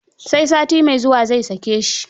Sai sati mai zuwa zai sake shi.